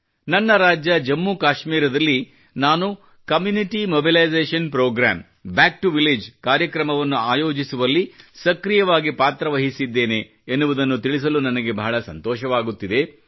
ನನ್ನ ರಾಜ್ಯ ಜಮ್ಮುಕಾಶ್ಮೀರದಲ್ಲಿ ನಾನು community mobilisation programme back to village ಕಾರ್ಯಕ್ರಮವನ್ನು ಆಯೋಜಿಸುವಲ್ಲಿ ಸಕ್ರಿಯವಾಗಿ ಪಾತ್ರ ವಹಿಸಿದ್ದೇನೆ ಎನ್ನುವುದನ್ನು ತಿಳಿಸಲು ನನಗೆ ಬಹಳ ಸಂತೋಷವಾಗುತ್ತಿದೆ